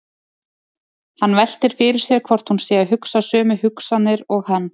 Hann veltir fyrir sér hvort hún sé að hugsa sömu hugsanir og hann.